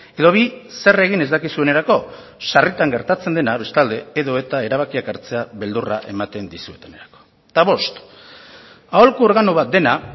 edo bi zer egin ez dakizuenerako sarritan gertatzen dena bestalde edota erabakitzeak hartzea beldurra ematen dizuetenerako eta bost aholku organo bat dena